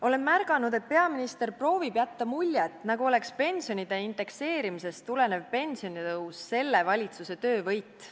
Olen märganud, et peaminister proovib jätta muljet nagu oleks pensionite indekseerimisest tulenev pensionitõus selle valitsuse töövõit.